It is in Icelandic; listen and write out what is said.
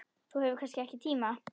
Þú hefur kannski ekki tíma?